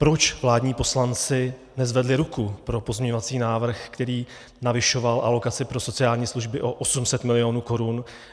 Proč vládní poslanci nezvedli ruku pro pozměňovací návrh, který navyšoval alokaci pro sociální služby o 800 mil. korun?